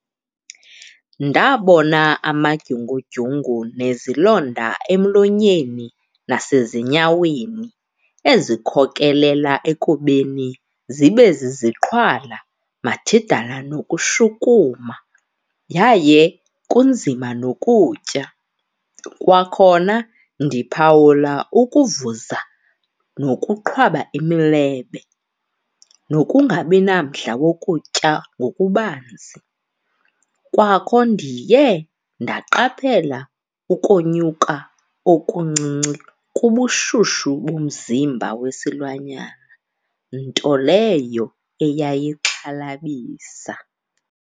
Ndabona amadyungu-dyungu nezilonda emlonyeni nasezinyaweni ezikhokelela ekubeni zibe ziziqhwala, mathidala nokushukuma yaye kunzima nokutya. Kwakhona ndiphawula ukuvuza nokuqhwaba imilebe nokungabi namdla wokutya ngokubanzi. Kwakho ndiye ndaqaphela ukonyuka okuncinci kubushushu bomzimba wesilwanyana nto leyo eyayixhalabisa.